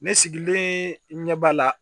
Ne sigilen ɲɛ b'a la